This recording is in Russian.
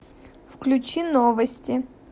включи новости